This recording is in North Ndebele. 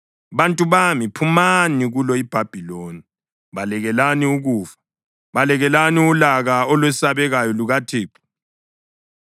Bantu bami, phumani kulo iBhabhiloni! Balekelani ukufa! Balekelani ulaka olwesabekayo lukaThixo.